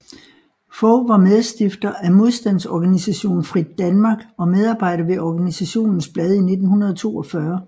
Fog var medstifter af modstandsorganisation Frit Danmark og medarbejder ved organisationens blad i 1942